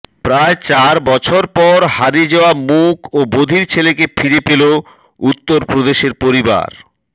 প্রায় চার বছর পর হারিয়ে যাওয়া মূক ও বধির ছেলেকে ফিরে পেল উত্তরপ্রদেশের পরিবার